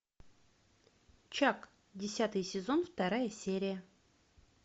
чак десятый сезон вторая серия